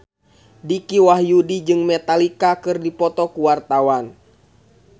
Dicky Wahyudi jeung Metallica keur dipoto ku wartawan